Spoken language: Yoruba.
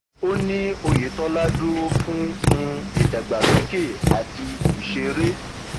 ó ní oyetola dúró fún um ìdàgbàsókè àti ìṣeré